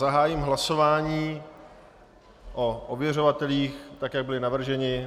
Zahájím hlasování o ověřovatelích, tak jak byli navrženi.